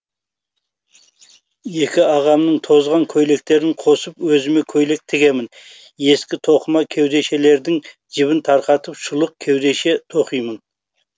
екі ағамның тозған көйлектерін қосып өзіме көйлек тігемін ескі тоқыма кеудешелерінің жібін тарқатып шұлық кеудеше тоқимын